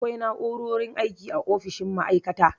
Akwai na'u'rorin aiki a ofishin ma'aikata.